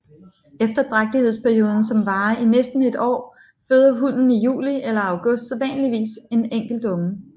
Efter drægtighedsperioden som varer i næsten et år føder hunnen i juli eller august sædvanligvis en enkelt unge